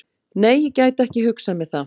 Nei, ég gæti ekki hugsað mér það.